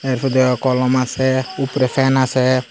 এরপর দেহ কলম আসে উপরে ফ্যান আসে ।